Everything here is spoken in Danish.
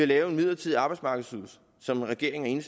lave en midlertidig arbejdsmarkedsydelse som regeringen